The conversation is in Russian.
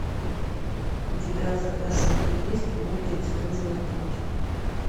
у тебя в загашнике есть мультик звездный путь